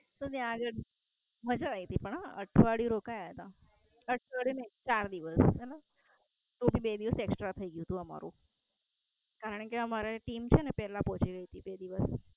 તો ત્યાં આગળ મજા આયી તી પણ હ. અઠવાડિયું રોકાયા તા. અઠવાડિયું ને ચાર દિવસ. કોઈ બે દિવસ Extra થઈ ગયું તું અમારું. કારણકે અમારે Team છેને પેલા પોચી ગયી તી બે દિવસ.